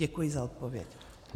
Děkuji za odpověď.